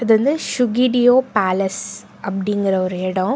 இது வந்து சுகிடியோ பேலஸ் அப்டின்கிற ஒரு எடம்.